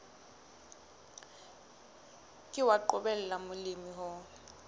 ke wa qobella molemi ho